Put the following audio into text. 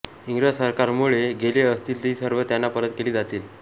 इंग्रज सरकारमुळे गेले असतील ती सर्व त्यांना परत केली जातील